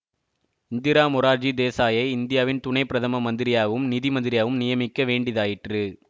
இந்திரா மொரார்ஜி தேசாயை இந்தியாவின் துணை பிரதம மந்திரியாகவும் நிதி மந்திரியாகவும் நியமிக்க வேண்டிதாயிற்று